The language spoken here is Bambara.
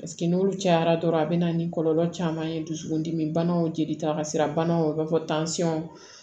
n'olu cayara dɔrɔn a bɛ na ni kɔlɔlɔ caman ye dusukun dimi banaw jelita ka se banaw fɔ tansɔn